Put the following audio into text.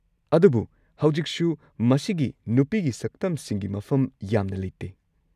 ꯑꯗꯨꯕꯨ ꯍꯧꯖꯤꯛꯁꯨ ꯃꯁꯤꯒꯤ ꯅꯨꯄꯤꯒꯤ ꯁꯛꯇꯝꯁꯤꯡꯒꯤ ꯃꯐꯝ ꯌꯥꯝꯅ ꯂꯩꯇꯦ꯫